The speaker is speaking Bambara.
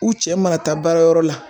U cɛ mana taa baarayɔrɔ la